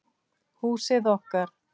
Húsið okkar.